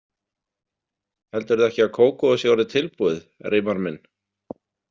Heldurðu ekki að kókóið sé orðið tilbúið, Reimar minn?